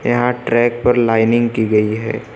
यहां ट्रैक पर लाइनिंग की गई है।